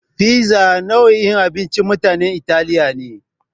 Fiza nau'in abincin mutanen Italiya ne.